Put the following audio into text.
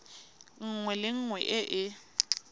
nngwe le nngwe e e